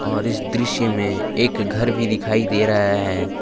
और इस दृश्य में एक घर भी दिखाई दे रहा है।